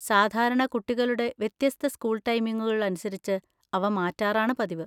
സാധാരണ കുട്ടികളുടെ വ്യത്യസ്ത സ്‌കൂൾ ടൈമിംഗുകൾ അനുസരിച്ച് അവ മാറ്റാറാണ് പതിവ്.